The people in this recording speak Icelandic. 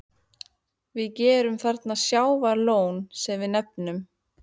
Við gerðum þarna sjávarlón, sem við nefnum